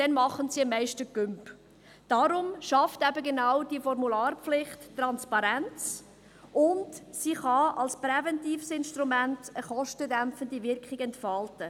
Deshalb schafft die Formularpflicht Transparenz und kann als präventives Instrument eine kostendämpfende Wirkung entfalten.